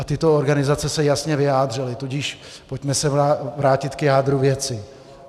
A tyto organizace se jasně vyjádřily, tudíž pojďme se vrátit k jádru věci.